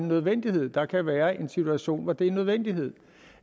nødvendighed der kan være en situation hvor det er en nødvendighed